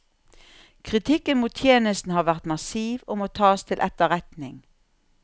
Kritikken mot tjenesten har vært massiv og må tas til etterretning.